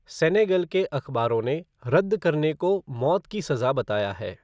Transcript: Senegal के अखबारों ने रद्द करने को मौत की सजा बताया है।